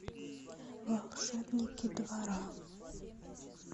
волшебники двора